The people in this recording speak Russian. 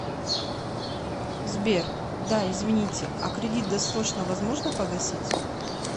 сбер да извините а кредит досрочно возможно погасить